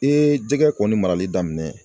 Ee jɛgɛ kɔni marali daminɛ